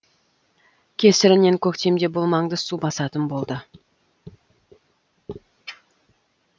кесірінен көктемде бұл маңды су басатын болды